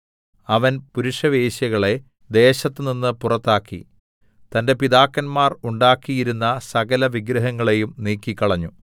അവൻ പുരുഷവേശ്യകളെ ദേശത്തുനിന്ന് പുറത്താക്കി തന്റെ പിതാക്കന്മാർ ഉണ്ടാക്കിയിരുന്ന സകലവിഗ്രഹങ്ങളെയും നീക്കിക്കളഞ്ഞു